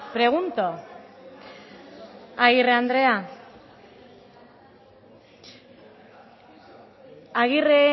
pregunto agirre andrea